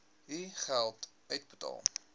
u geld uitbetaal